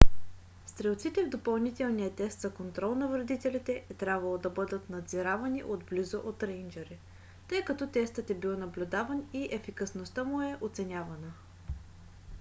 стрелците в допълнителния тест за контрол на вредителите е трябвало да бъдат надзиравани отблизо от рейнджъри тъй като тестъ е бил наблюдаван и ефикасността му оценявана